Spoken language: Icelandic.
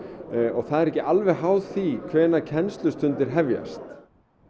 það er ekki alveg háð því hvenær kennslustundir hefjast